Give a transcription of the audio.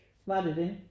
Var det det?